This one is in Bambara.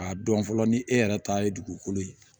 K'a dɔn fɔlɔ ni e yɛrɛ ta ye dugukolo ye